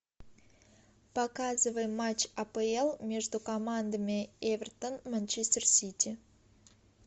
показывай матч апл между командами эвертон манчестер сити